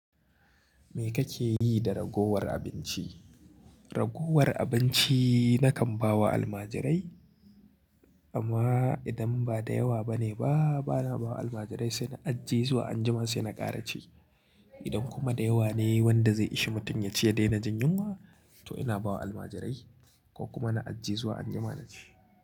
Me kake yi da ragowar abinci? Ragowar abinci nakan ba wa almajirai, amma idan ba da yawa ba ne ba, bana ba wa almajirai sai na ajje zuwa anjima sai na ƙara ci. Idan kuma da yawa ne wanda zai ishe mutum ya ci ya daina jin yunwa, to ina ba wa almajirai ko kuma na ajje zuwa anjima na ci.